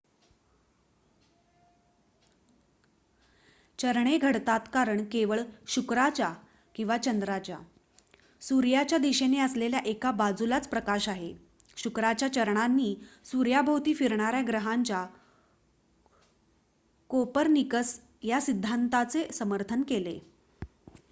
चरणे घडतात कारण केवळ शुक्राच्या किंवा चंद्राच्या सूर्याच्या दिशेने असलेल्या एका बाजूलाच प्रकाश आहे. शुक्राच्या चरणांनी सूर्याभोवती फिरणार्‍या ग्रहांच्या कोपर्निकस या सिद्धांताचे समर्थन केले